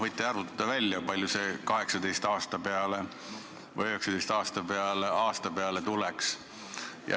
Võite välja arvutada, kui palju 18 või 19 aasta peale tuleks.